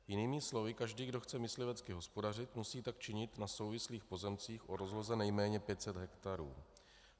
Jinými slovy, každý, kdo chce myslivecky hospodařit, musí tak činit na souvislých pozemcích o rozloze nejméně 500 hektarů.